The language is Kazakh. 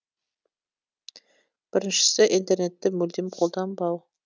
біріншісі интернетті мүлдем қолданбау